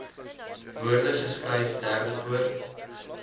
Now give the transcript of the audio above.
woorde geskryf derdepoort